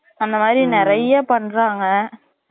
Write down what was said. அந்த மாறி நெறையா பண்றாங்க ம்